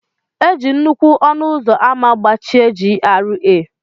E ji nnukwu ọnụ ụzọ ámá gbachie GRA.